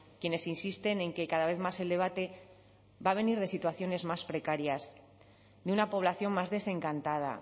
quienes insisten en que cada vez más el debate va a venir de situaciones más precarias de una población más desencantada